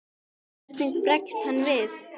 Hvernig bregst hann við?